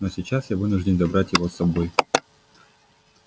но сейчас я вынужден забрать его с собой